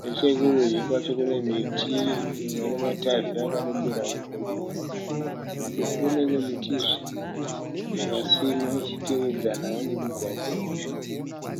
Nechekurudyi kwacho kune miti imwe inematavhi akarembera uko nekoko. Kuruboshwe kune mimwe mitizve, yakasimwa ichitevedzanavo nemugwagwa uyu.